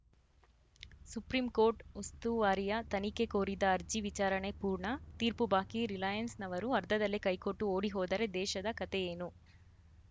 supreme court ಉಸ್ತುವಾರಿಯ ತನಿಖೆ ಕೋರಿದ್ದ ಅರ್ಜಿ ವಿಚಾರಣೆ ಪೂರ್ಣ ತೀರ್ಪು ಬಾಕಿ ರಿಲಯನ್ಸ್‌ನವರು ಅರ್ಧದಲ್ಲೇ ಕೈಕೊಟ್ಟು ಓಡಿ ಹೋದರೆ ದೇಶದ ಕಥೆ ಏನು